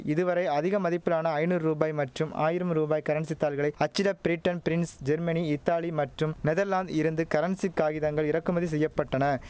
இதுவரை அதிக மதிப்பிலான ஐநூ ரூபாய் மற்றும் ஆயிரம் ரூபாய் கரன்சி தாள்களை அச்சிட பிரிட்டன் பிரின்ஸ் ஜெர்மனி இத்தாலி மற்றும் நெதர்லாந்தில் இருந்து கரன்சி காகிதங்கள் இறக்குமதி செய்ய பட்டன